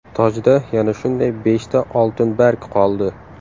Tojda yana shunday beshta oltin barg qoldi.